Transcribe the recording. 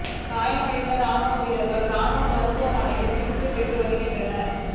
காயமடைந்த ராணுவ வீரர்கள் ராணுவ மருத்துவமனையில் சிகிச்சை பெற்று வருகின்றனர்